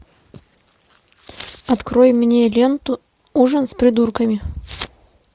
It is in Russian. открой мне ленту ужин с придурками